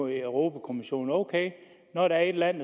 i europa kommissionen ok når der er et land